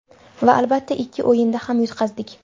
Va albatta, ikki o‘yinda ham yutqazdik.